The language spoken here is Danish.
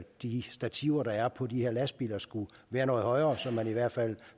de stativer der er på de her lastbiler skulle være noget højere så man i hvert fald